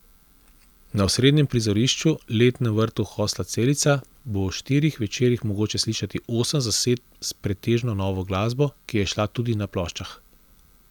Na osrednjem prizorišču, letnem vrtu hostla Celica, bo v štirih večerih mogoče slišati osem zasedb s pretežno novo glasbo, ki je izšla tudi na ploščah.